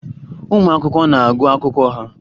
Ụmụ akwụkwọ na-agụ akwụkwọ ha